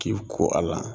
K'i ko a la